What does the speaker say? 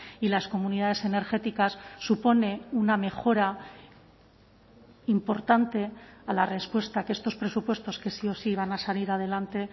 y las comunidades energéticas supone una mejora importante a la respuesta que estos presupuestos que sí o sí van a salir adelante